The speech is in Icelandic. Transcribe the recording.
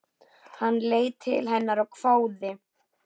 Hann leit til hennar og hváði.